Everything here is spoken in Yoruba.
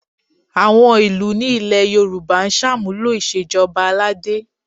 Àwọn ìlú ní ilẹ̀ Yorùbá ń ṣàmúlò ìṣèjọba aládé